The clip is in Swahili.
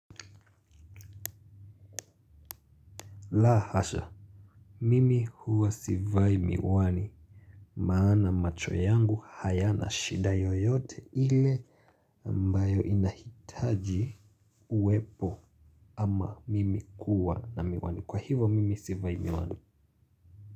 La hasha, mimi huwa sivai miwani. Maana macho yangu hayana shida yoyote ile ambayo inahitaji uwepo ama mimi kuwa na miwani. Kwa hivyo mimi sivai miwani.